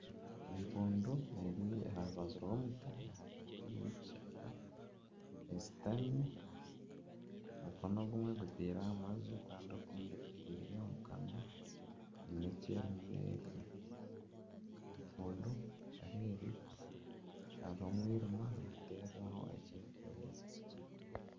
Empundu eri aha rubaju rw'omuti ahagati y'ekishaka eshutami omukono ogumwe egutaire aha maju kandi ogundu egutaire omu kanwa, haine eki erimu nerya. Empundu ahu eri hariho omwirima nihaterwaho ekyererezi kikye.